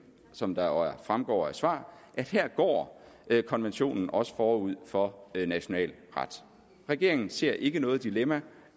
som jo fremgår af et svar at her går konventionen også forud for national ret regeringen ser ikke noget dilemma